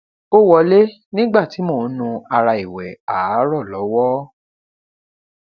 ó wọlé nígbà tí mò ń nu ara ìwẹ àárọ lọwọ